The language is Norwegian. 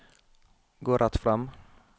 gå rett frem